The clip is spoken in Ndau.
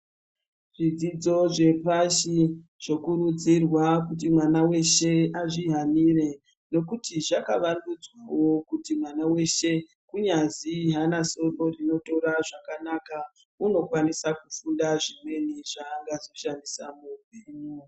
Zvidzidzo zvepashi zvokurudzirwa kuti mwana weshe azvihanire ngekuti zvakavandudzwawo kuti mwana weshe kunyazi aana soro rinotora zvakanaka unokwanisa kufunda zvimweni zvaangazoshandisa muupenyu.